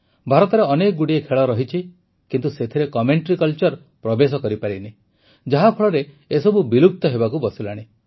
ଭାରତରେ ଅନେକଗୁଡ଼ିଏ ଖେଳ ରହିଛି କିନ୍ତୁ ସେଥିରେ କମେଂଟ୍ରି କଲ୍ଚର ପ୍ରବେଶ କରିନି ଯାହାଫଳରେ ଏସବୁ ବିଲୁପ୍ତ ହେବାକୁ ବସିଲାଣି